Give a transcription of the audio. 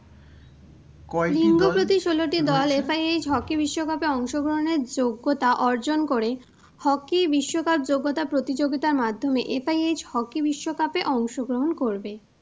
FIHhockey বিশ্বকাপে অংশগ্রহণের যোগ্যতা অর্জন করে hockey বিশ্বকাপ যোগ্যতা প্রতিযোগিতার মাধ্যমে FIH hockey বিশ্বকাপে অংশগ্রহণ করবে।